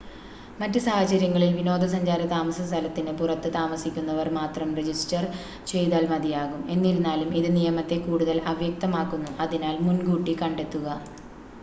മറ്റ് സാഹചര്യങ്ങളിൽ വിനോദസഞ്ചാര താമസസ്ഥലത്തിന് പുറത്ത് താമസിക്കുന്നവർ മാത്രം രജിസ്റ്റർ ചെയ്‌താൽ മതിയാകും എന്നിരുന്നാലും ഇത് നിയമത്തെ കൂടുതൽ അവ്യക്തമാക്കുന്നു അതിനാൽ മുൻകൂട്ടി കണ്ടെത്തുക